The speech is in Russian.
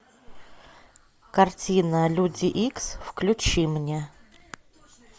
картина люди икс включи мне